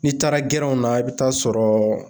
N'i taara gɛrɛnw na i bi taa sɔrɔ